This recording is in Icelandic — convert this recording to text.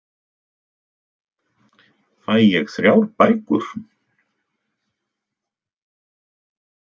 Fæ ég þrjár bækur?